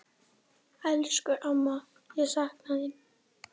Elsku amma, ég sakna þín.